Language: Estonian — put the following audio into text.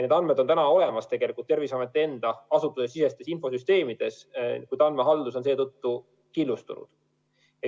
Need andmed on tegelikult Terviseameti enda asustusesisestes infosüsteemides olemas, kuid andmehaldus on killustunud.